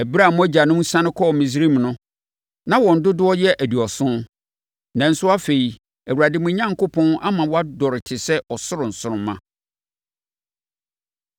Ɛberɛ a mo agyanom siane kɔɔ Misraim no, na wɔn dodoɔ yɛ aduɔson. Nanso afei, Awurade, mo Onyankopɔn ama moadɔre te sɛ ɔsoro nsoromma.